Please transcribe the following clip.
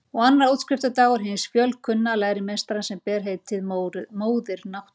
Og annar útskriftardagur hins fjölkunnuga lærimeistara sem ber heitið Móðir Náttúra.